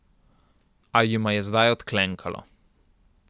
A jima je zdaj odklenkalo.